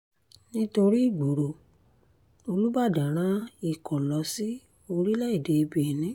nítorí ìgboro olùbàdàn rán ikọ̀ lọ sí orílẹ̀‐èdè benin